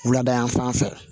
Wulada fan fɛ